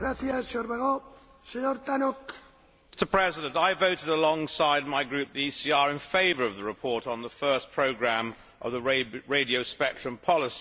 Mr President, I voted alongside my group, the ECR, in favour of the report on the first programme of the radio spectrum policy.